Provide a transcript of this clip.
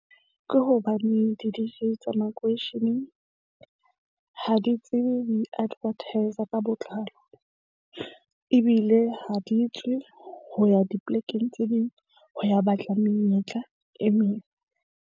Ke hobane di-D_J tsa makweisheneng ha di tsebe ho iadvertisa ka botlalo ebile ha di tswe ho ya dipolekeng tse ding ho ya batla menyetla e meng.